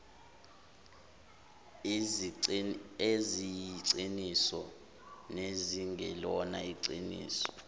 eziyiqiniso nezingelona iqiniso